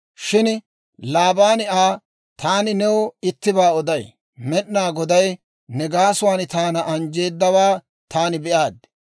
Shin Laabaani Aa, «Taani new ittibaa oday; Med'inaa Goday ne gaasuwaan taana anjjeedawaa taani be'aaddi.